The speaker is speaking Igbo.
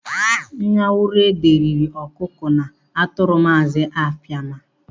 Nyanwuruede riri ọkụkọ na atụrụ Maazị Apama.